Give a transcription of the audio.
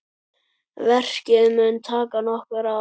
Verkið mun taka nokkur ár.